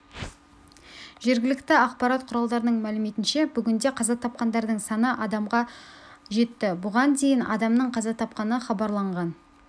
жергілікті ақпарат құралдарының мәліметінше бүгінде қаза тапқандардың саны адамға жетті бұған дейін адамның қаза тапқаны хабарланған